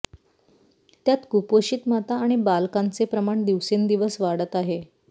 त्यात कुपोषित माता आणि बालकांचे प्रमाण दिवसेंदिवस वाढत आहे